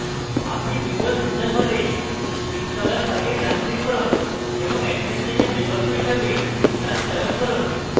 আপনি windows user হলে installer file ডান click run এবং administrator বিকল্প হিসাবে run চয়ন run